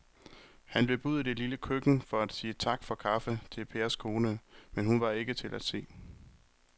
Han løb ud i det lille køkken for at sige tak for kaffe til Pers kone, men hun var ikke til at se.